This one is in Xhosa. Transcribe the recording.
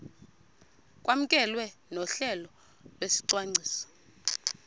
kwamkelwe nohlelo lwesicwangciso